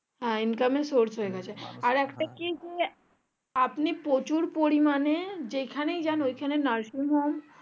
হ্যাঁ income এর source আর একটা কি যে আপনি প্রচুর পরিমানে যেই খানে যাই ওই খানে নার্সিং হোম